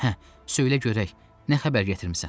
Hə, söylə görək, nə xəbər gətirmisən?